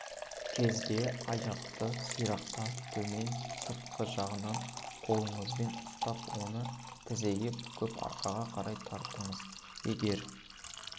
кезде аяқты сирақтан төмен сыртқы жағынан қолыңызбен ұстап оны тізеге бүгіп арқаға қарай тартыңыз егер